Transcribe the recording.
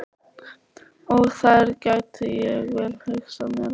Og þar gæti ég vel hugsað mér að búa.